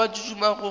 kwa ke duma go ba